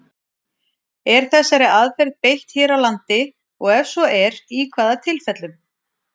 Er þessari aðferð beitt hér á landi, og ef svo er, í hvaða tilfellum?